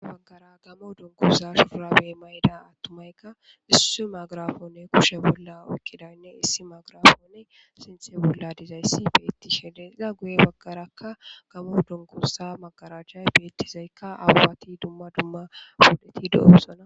Waggara gamo donkoza shufura be mayida attumaykka issu magirafonne kushe bolla uykkidaynne issi magrafonne sinthe bolla dizayssi beetti shede xiza guye baggarakka gamo donkosa magaraajhay beettizaykka aabati dumma dumma podeti do7osona